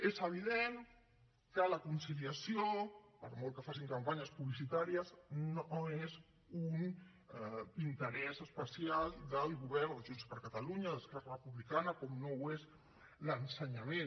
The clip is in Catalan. és evident que la conciliació per molt que facin campanyes publicitàries no és un interès especial del govern de junts per catalunya d’esquerra republicana com no ho és l’ensenyament